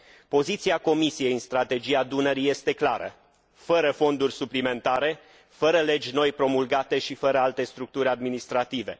Poziția Comisiei în strategia Dunării este clară fără fonduri suplimentare, fără legi noi promulgate și fără alte structuri administrative.